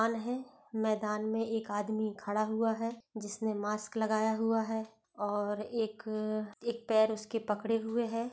मैदान है मैदान मे एक आदमी खड़ा हुआ है जिसने मास्क लगाया हुआ है और एक एक पैर उसके पकड़े हुए है।